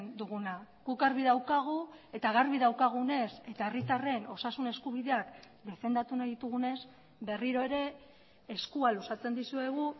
duguna guk argi daukagu eta garbi daukagunez eta herritarren osasun eskubideak defendatu nahi ditugunez berriro ere eskua luzatzen dizuegu